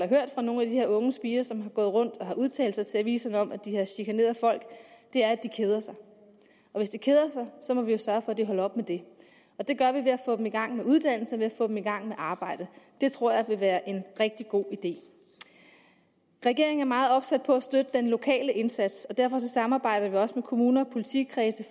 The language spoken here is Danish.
hørt fra nogle af de her unge spirer som har gået rundt og har udtalt sig til aviserne om at de har chikaneret folk er at de keder sig og hvis de keder sig må vi jo sørge for at de holder op med det det gør vi ved at få dem i gang med uddannelse ved at få dem i gang med arbejde det tror jeg vil være en rigtig god idé regeringen er meget opsat på at støtte den lokale indsats og derfor samarbejder vi også med kommuner og politikredse